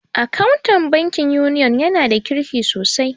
Akawun bankin Union ya na da kirki sosai